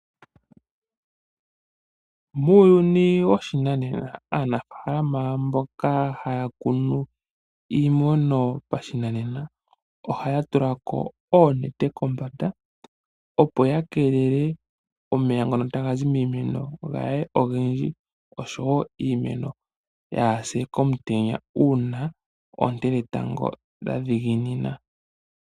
Muuyuni woshinanena, aanafaalama mboka haya kunu iimeno yopashinanena, ohaya tulako oonete kombanda opo ya keelele omeya ngono tagayi miimeno kaaga kale ogendji, oshowo iimeno yaapye komutenya uuna oonte dhetango dha dhiginina.